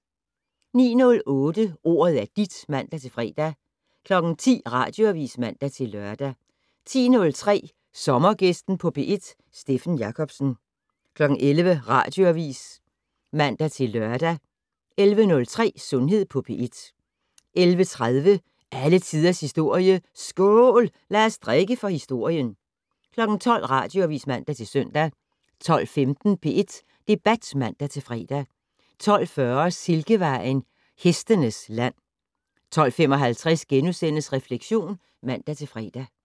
09:08: Ordet er dit (man-fre) 10:00: Radioavis (man-lør) 10:03: Sommergæsten på P1: Steffen Jacobsen 11:00: Radioavis (man-lør) 11:03: Sundhed på P1 11:30: Alle tiders historie: SKÅL! Lad os drikke for historien 12:00: Radioavis (man-søn) 12:15: P1 Debat (man-fre) 12:40: Silkevejen: Hestenes land 12:55: Refleksion *(man-fre)